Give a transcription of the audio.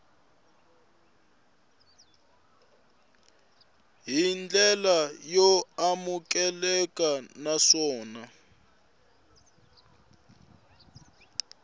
hi ndlela yo amukeleka naswona